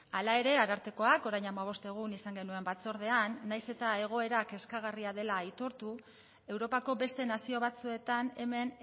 hala ere arartekoak orain hamabost egun izan genuen batzordean naiz eta egoera kezkagarria dela aitortu europako beste nazio batzuetan hemen